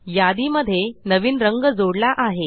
यादी मध्ये नवीन रंग जोडला आहे